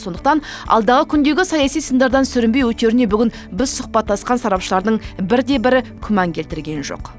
сондықтан алдағы күндегі саяси сындардан сүрінбей өтеріне бүгін біз сұхбаттасқан сарапшылардың бір де бірі күмән келтірген жоқ